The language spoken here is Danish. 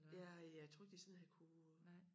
Ja jeg tror ikke de sådan havde kunnet